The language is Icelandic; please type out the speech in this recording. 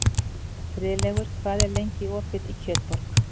Friðlaugur, hvað er lengi opið í Kjötborg?